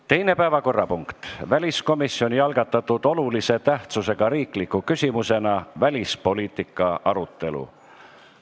Teine päevakorrapunkt on väliskomisjoni algatatud olulise tähtsusega riikliku küsimusena välispoliitika arutelu.